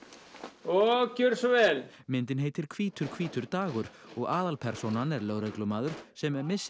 og gjöriði svo vel myndin heitir hvítur hvítur dagur og aðalpersónan er lögreglumaður sem missir